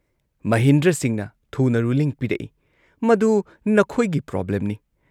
ꯃꯍꯤꯟꯗ꯭ꯔ ꯁꯤꯡꯍꯅ ꯊꯨꯅ ꯔꯨꯂꯤꯡ ꯄꯤꯔꯛꯏ "ꯃꯗꯨ ꯅꯈꯣꯏꯒꯤ ꯄ꯭ꯔꯣꯕ꯭ꯂꯦꯝꯅꯤ ꯫